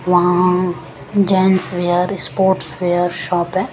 वहां gents wear sports wear shop है।